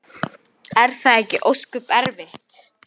Svo gekk hann á dyr.